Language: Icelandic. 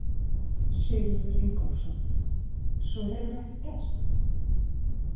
Sigurður Ingólfsson: Svo hefur ekkert gerst?